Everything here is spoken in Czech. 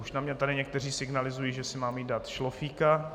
Už na mě tady někteří signalizují, že si mám jít dát šlofíka.